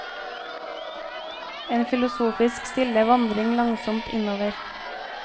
En filosofisk, stille vandring langsomt innover.